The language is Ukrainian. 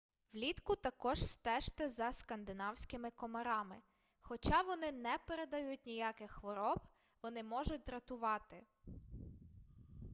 влітку також стежте за скандинавськими комарами хоча вони не передають ніяких хвороб вони можуть дратувати